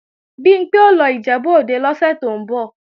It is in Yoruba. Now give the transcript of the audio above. Bimpé ó lọ Ìjẹ̀bú-Òde lóṣù tó ń bọ̀